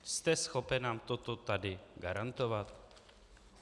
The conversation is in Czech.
Jste schopen nám toto tady garantovat?